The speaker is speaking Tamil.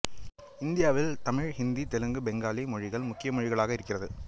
இந்தியாவில் தமிழ் ஹிந்தி தெலுங்கு பெங்காலி மொழிகள் முக்கிய மொழிகளாக இருக்கிறது